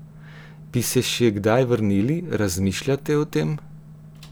Bi se še kdaj vrnili, razmišljate o tem?